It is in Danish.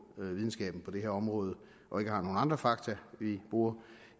videnskaben på det her område og ikke har nogen andre fakta vi bruger